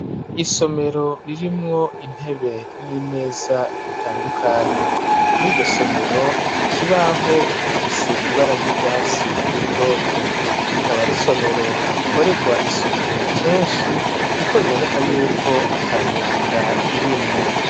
Isomero ririmwo intebe, n'imeza bitandukanye ,muri iryo somero ikibaho gifise ibara ry'urwatsi rutoto, rikaba ari isomero rikoregwa isuku kenshi ,kuko biboneka yuko atamyanda irimwo.